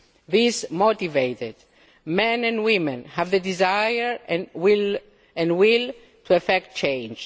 These motivated men and women have the desire and will to effect change.